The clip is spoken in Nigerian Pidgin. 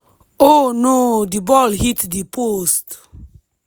oh no di ball hit di post.